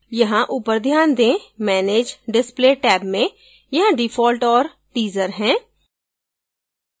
यहाँ ऊपर ध्यान दें manage display टैब में यहाँ default और teaser है